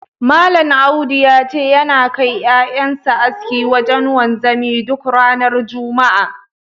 Malam Audu ya ce, yana kai ƴaƴan sa aski wajen wanzami duk ranar juma'a.